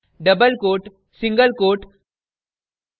double quote quote single quote